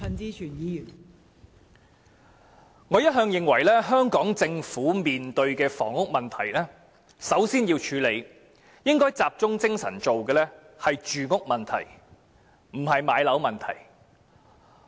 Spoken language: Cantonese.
代理主席，我一向認為香港政府面對房屋問題時，首先應該集中精神處理的是住屋問題，而不是置業問題。